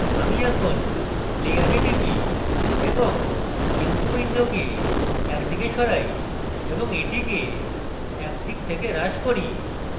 আমি এখন layer টিপি এবং info window একদিকে সরাই এবং এটিকে একদিক থেকে হ্রাস করি